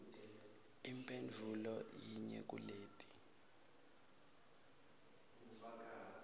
imphendvulo yinye kuleti